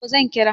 to zan kira